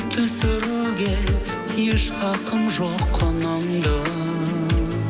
түсіруге еш хақым жоқ құныңды